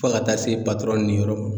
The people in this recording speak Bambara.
Fɔ ka taa se patɔrɔn ni yɔrɔ ma